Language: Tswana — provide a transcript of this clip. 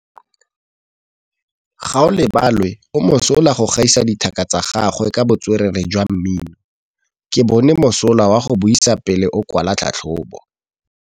Gaolebalwe o mosola go gaisa dithaka tsa gagwe ka botswerere jwa mmino. Ke bone mosola wa go buisa pele o kwala tlhatlhobô.